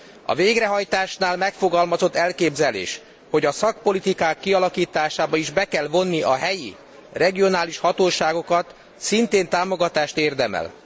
A végrehajtásnál megfogalmazott elképzelés, hogy szakpolitikák kialakításába is be kell vonni a helyi, regionális hatóságokat, szintén támogatást érdemel.